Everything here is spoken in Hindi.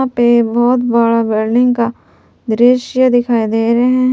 पे बहोत बड़ा बिल्डिंग का दृश्य दिखाई दे रहे हैं।